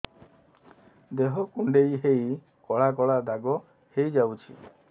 ଦେହ କୁଣ୍ଡେଇ ହେଇ କଳା କଳା ଦାଗ ହେଇଯାଉଛି